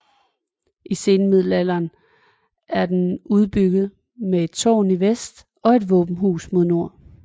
I senmiddelalderen er den udbygget med et tårn i vest og et våbenhus i nord